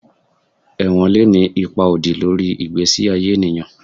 Ewon le ni ipa odi lori igbesi aye eniyan